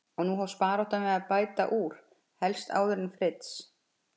Og nú hófst baráttan við að bæta úr, helst áður en Fritz